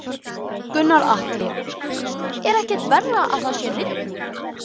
Gunnar Atli: Er ekkert verra að það sé rigning?